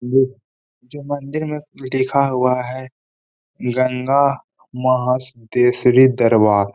ये मंदिर में जो देखा हुआ है गंगा महासती श्री दरबार --